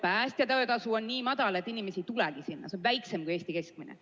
Päästja töötasu on nii madal, et inimesi ei tulegi sinna, see on väiksem kui Eesti keskmine.